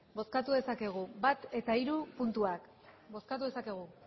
bale bozkatu dezakegu bat eta hiru puntuak bozkatu dezakegu